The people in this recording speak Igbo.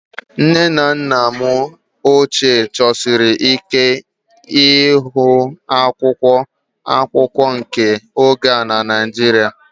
Nne na nna m ochie chọsiri ike ịhụ akwụkwọ akụkọ nke oge a na Naịjirịa